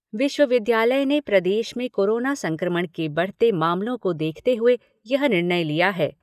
विश्वविद्यालय ने प्रदेश में कोरोना संक्रमण के बढ़ते मामलों को देखते हुए यह निर्णय लिया है।